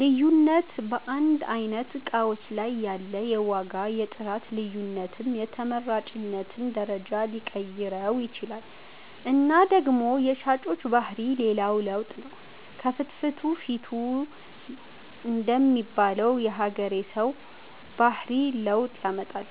ልዩነት በአንድ አይነት እቃዎች ላይ ያለ የዋጋ የጥራት ልዮነትም የተመራጭነትን ደረጃ ሊቀይረው ይችላል እና ደግሞ የሻጮች ባህሪ ሌላው ለውጥ ነው ከፍትፊቱ ፊቱ ደሚል የሀገሬ ሠው ባህሪ ለውጥ ያመጣል።